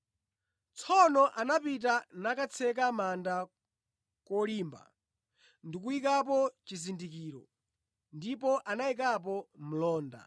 Tsono anapita nakatseka manda kolimba ndi kuyikapo chizindikiro ndipo anayikapo mlonda.